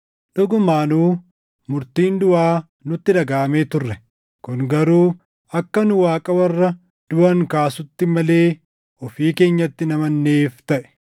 Dhugumaanuu murtiin duʼaa nutti dhagaʼamee turre. Kun garuu akka nu Waaqa warra duʼan kaasutti malee ofii keenyatti hin amananneef taʼe.